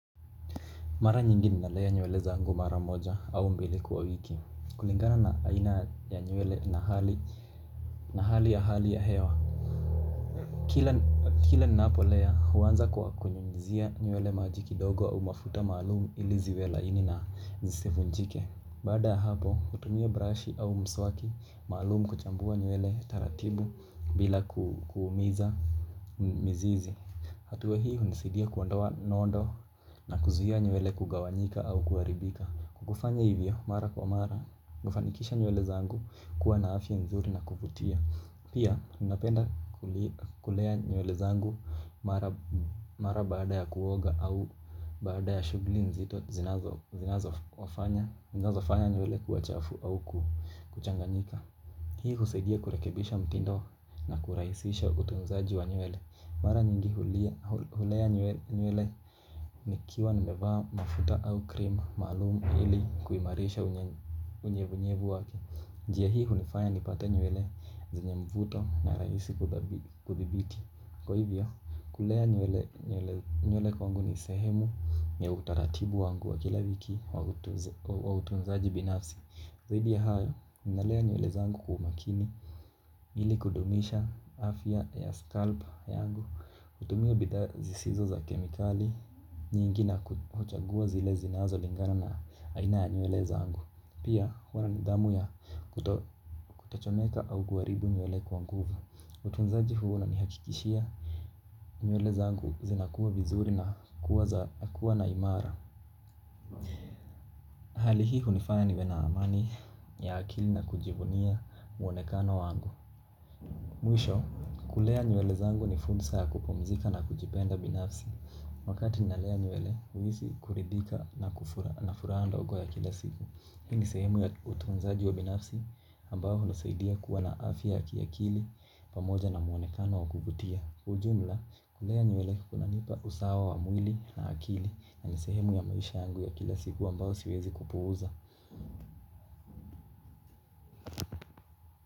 Mara nyingi ninalea nyewele zangu mara moja au mbili kwa wiki. Kulingana na aina ya nywele na hali ya hali ya hewa. Kila ninapolea, huanza kwa kunyunyizia nywele maji kidogo au mafuta maalumu ili ziwe laini na zisivunjike. Baada ya hapo, hutumia brush au mswaki, maalumu kuchambua nywele taratibu bila kuumiza mizizi. Hatua hii hunisidia kuondoa nodo na kuzuia nywele kugawanyika au kuharibika. Kufanya hivyo mara kwa mara, hufanikisha nywele zangu kuwa na afya nzuri na kuvutia. Pia, napenda kulea nywele zangu mara baada ya kuoga au baada ya shughuli nzito zinazo wafanya zinazofanya nywele kuwa chafu au kuchanganyika. Hii husaidia kurekebisha mtindo na kurahisisha utunzaji wa nywele. Mara nyingi hulea nywele nikiwa nimevaa mafuta au krema maalumu ili kuimarisha unyevunyevu wake. Njia hii hunifanya nipate nywele zenye mvuto na rahisi kuthibiti. Kwa hivyo, kulea nywele kwangu ni sehemu ya utaratibu wangu wa kila wiki wa utunzaji binafsi. Zaidi ya hayo, ninalea nywele zangu kwa umakini ili kudumisha afya ya scalp yangu, kutumia bidhaa zisizo za kemikali, nyingi na kuchagua zile zinazo lingana na aina ya nywele zangu. Pia huwana ni damu ya kutachomeka au kuharibu nywele kwa nguvu. Utunzaji huwanani hakikishia, nywele zangu zinakuwa vizuri na kuwa na imara. Hali hii hunifanya niwe na amani ya akili na kujivunia muonekano wangu. Mwisho, kulea nywele zangu ni fursa ya kupumzika na kujipenda binafsi. Wakati ninalea nywele, huhisi kuridhika na furaha ndogo ya kila siku. Hini sehemu ya utunzaji wa binafsi ambao hulosaidia kuwa na afya ya kiakili pamoja na muonekano wa kuvutia. Ujumla, kulea nywele kunanipa usawa wa mwili na akili na nisehemu ya maisha yangu ya kila siku ambao siwezi kupuuza.